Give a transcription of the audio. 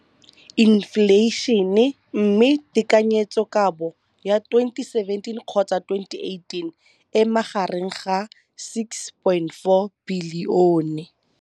Infleišene, mme tekanyetsokabo ya 2017, 18, e magareng ga R6.4 bilione.